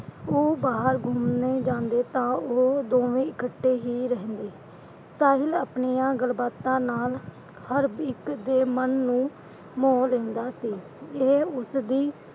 ਉਹ ਬਾਹਰ ਘੁੰਮਣ ਜਾਂਦੇ ਤਾਂ ਉਹ ਦੋਵੇਂ ਇਕੱਠੇ ਹੀ ਰਹਿੰਦੇ, ਸਾਹਿਲ ਆਪਣੀਆਂ ਗੱਲਬਾਤਾਂ ਨਾਲ ਹਰ ਇੱਕ ਦੇ ਮਨ ਨੂੰ ਮੋਹ ਲੈਂਦਾ ਸੀ। ਇਹ ਉਸਦੀ,